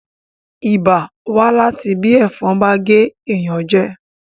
ibà wá láti bí ẹ̀fọn bá gé èèyàn jẹ